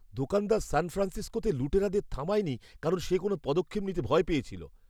দোকানদার সান ফ্রান্সিসকোতে লুটেরাদের থামায়নি কারণ সে কোনও পদক্ষেপ নিতে ভয় পেয়েছিল।